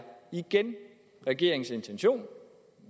regeringens intention